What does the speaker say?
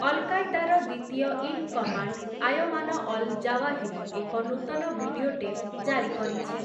ଅଲ୍‌-କାଏଦାର ଦ୍ୱିତୀୟ in command Ayman al Zawahiri ଏକ ନୂତନ ଭିଡିଓ ଟେପ୍ ଜାରି କରିଛି ।